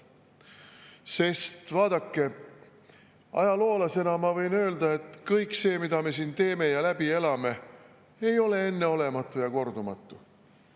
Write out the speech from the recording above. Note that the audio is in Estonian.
Sest vaadake, ajaloolasena ma võin öelda, et kõik see, mida me siin teeme ja läbi elame, ei ole enneolematu ja kordumatu.